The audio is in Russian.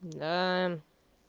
да